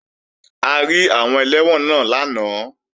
A rí àwọn ẹlẹ́wọ̀n náà lánàá